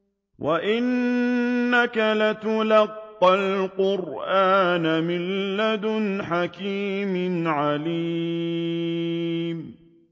وَإِنَّكَ لَتُلَقَّى الْقُرْآنَ مِن لَّدُنْ حَكِيمٍ عَلِيمٍ